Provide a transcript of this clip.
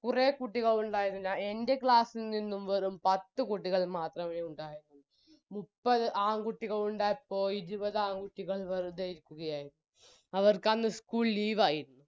കുറെ കുട്ടികൾ ഉണ്ടായിരുന്നു എൻറെ class ഇൽ നിന്നും വെറും പത്ത് കുട്ടികൾ മാത്രമേ ഉണ്ടായിരുന്നുള്ളു മുപ്പത് ആൺകുട്ടികൾ ഉണ്ടായപ്പോൾ ഇരുപത് ആൺകുട്ടികൾ വെറുതെ ഇരിക്കുകയായിരുന്നു അവർക്കന്ന് ഇ school leave ആയി